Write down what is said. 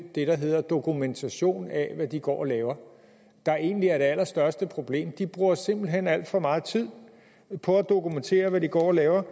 det der hedder dokumentation af hvad de går og laver der egentlig er det allerstørste problem de bruger simpelt hen alt for meget tid på at dokumentere hvad de går og laver